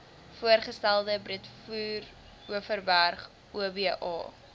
voorgestelde breedeoverberg oba